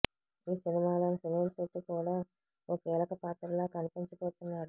ఈ సినిమాలో సునీల్ శెట్టి కూడా ఓ కీలక పాత్రలో కనిపించబోతున్నాడు